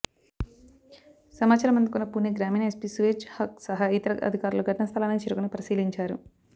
సమాచారం అందుకున్న పుణె గ్రామీణ ఎస్పి సువేజ్ హక్ సహా ఇతర అధికారులు ఘటన స్థలానికి చేరుకొని పరిశీలించారు